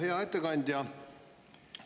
Hea ettekandja!